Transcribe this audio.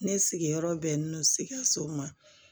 Ne sigiyɔrɔ bɛnnen don sikaso ma